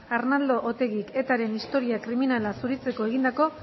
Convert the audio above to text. arnaldo otegik etaren historia kriminala zuritzeko egindako